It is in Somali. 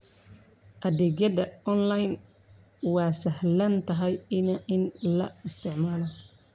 Adeegyada online waa sahlan tahay in la isticmaalo.